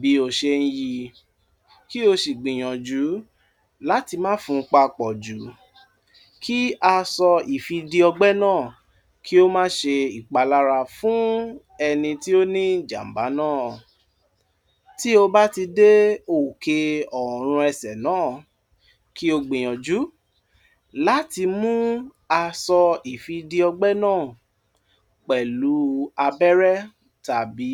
bí o ṣe ń yí, kí o ṣì gbìyànjú láti má fún un papọ̀ jù kí aṣọ ìfìdí ọgbẹ́ náà kí ó má ṣe ipalara fún ẹni tí ó ní ìjàmbá náà. Tí ó bá ti dé òkè ọ̀run ẹsẹ̀ náà, kí ó gbìyànjú láti mú aṣọ ìfìdí ọgbẹ́ náà pẹ̀lú abẹ́rẹ́ tàbí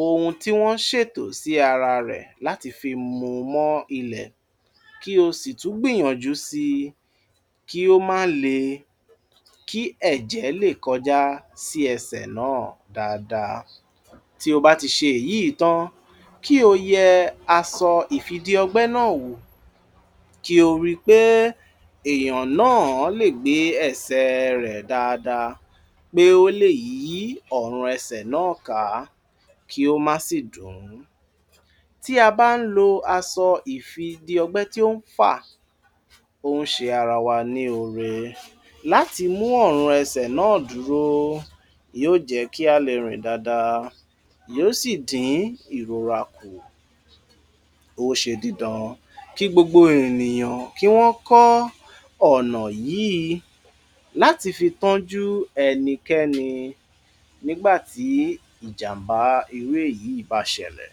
ohun tí wọ́n ń ṣètò sí ara rẹ̀ láti fi mú mọ́ ilẹ̀, kí o sì tún gbìyànjú sí i, kí ó má lè, kí ẹ̀jẹ́ lè kọjá sí ẹsẹ̀ náà dáadáa. Tí ó bá ti ṣe èyí tan, kí ó yẹ aṣọ ìfìdí ọgbẹ́ náà wò, kí ó rí pé èèyàn náà lè gbé ẹsẹ̀ rẹ̀ dáadáa, pé ó lè yí ọ̀run ẹsẹ̀ náà ká, kí ó má sì dùn ún. Tí a bá ń lo aṣọ ìfìdí ọgbẹ́ tí ó ń fà, ó ń ṣe ara wa ní ọ̀rẹ́ láti mú ọ̀run ẹsẹ̀ náà dúró. Yóò jẹ́ kí a lè rìn dáadáa, yóò sì dín ìròrà kù. Ó ṣe dídán kí gbogbo ènìyàn kí wọ́n ń kọ ọ̀nà yìí láti fi tọ́jú ẹnikẹ́ni nígbàtí ìjàmbá irú èyí bà ṣẹ̀lẹ̀.